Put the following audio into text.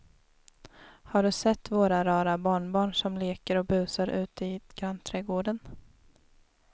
Har du sett våra rara barnbarn som leker och busar ute i grannträdgården!